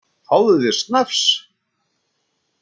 Fáðu þér snafs!